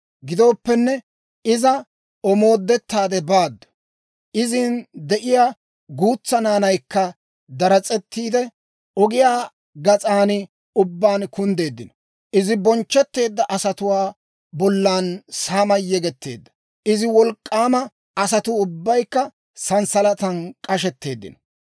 Gidooppenne, iza omoodettaade baaddu; izin de'iyaa guutsaa naanaykka daras'ettiide, ogiyaa gas'an ubbaan kunddeeddino. Izi bonchchetteedda asatuwaa bollan saamay yegetteedda; izi wolk'k'aama asatuu ubbaykka santsalatan k'ashetteeddino.